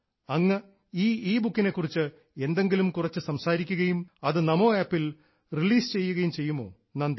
അങ്ങ് ഈ ഇബുക്കിനെ കുറിച്ച് എന്തെങ്കിലും കുറച്ച് സംസാരിക്കുകയും അത് നമോ ആപ്പിൽ റിലീസ് ചെയ്യുകയും ചെയ്യുമോ നന്ദി